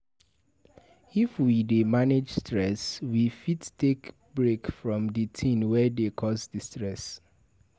If we dey manage stress, we fit take break from di thing wey dey cause di stress